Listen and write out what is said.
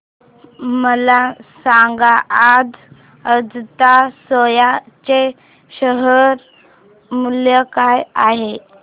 मला सांगा आज अजंता सोया चे शेअर मूल्य काय आहे